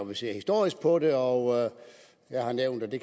man ser historisk på det og jeg har nævnt at vi